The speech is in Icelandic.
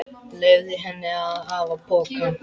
Leyfði henni að hafa pokann.